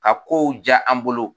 A ko diya an bolo